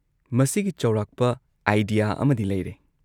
ꯃꯁꯤꯒꯤ ꯆꯧꯔꯥꯛꯄ ꯑꯥꯢꯗꯤꯌꯥ ꯑꯃꯗꯤ ꯂꯩꯔꯦ꯫